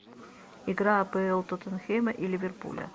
игра апл тоттенхэма и ливерпуля